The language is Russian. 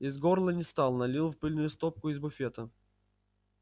из горла не стал налил в пыльную стопку из буфета